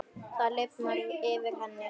Það lifnar yfir henni.